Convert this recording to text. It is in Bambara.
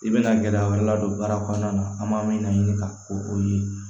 I bɛna gɛlɛya wɛrɛ ladon baara kɔnɔna na an b'a min laɲini ka ko o ye